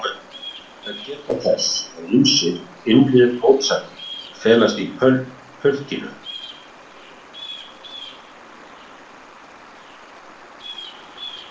Að lokum ber að geta þess að ýmsar innri mótsagnir felast í pönkinu.